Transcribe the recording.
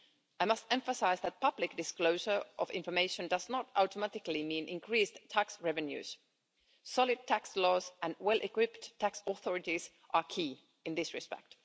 I must emphasise that public disclosure of information does not automatically mean increased tax revenues. Solid tax laws and well equipped tax authorities are key in this respect.